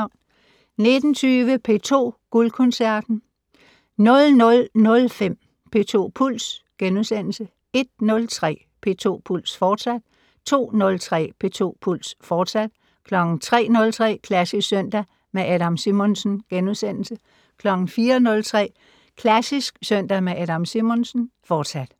19:20: P2 Guldkoncerten 00:05: P2 Puls * 01:03: P2 Puls, fortsat 02:03: P2 Puls, fortsat 03:03: Klassisk søndag med Adam Simonsen * 04:03: Klassisk søndag med Adam Simonsen, fortsat